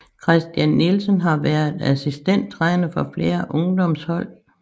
Christian Nielsen har været assistenttræner for flere ungdomshold